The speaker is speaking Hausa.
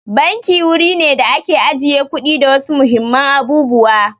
Banki wuri ne da ake ajiye kuɗi da wasu muhimman abubuwa.